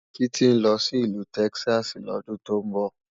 Titi nlò si Ilù Tèkisási lòdùn tó nbò